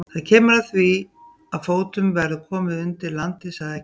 Það kemur að því að fótum verður komið undir landið, sagði Eggert.